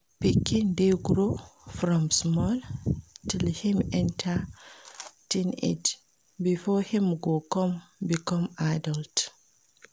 Pikin de grow from small till im enter teenage before im go come become adult